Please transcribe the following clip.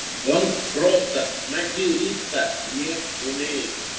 он просто материться не умеет